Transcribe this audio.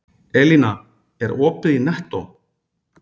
Elína, er opið í Nettó?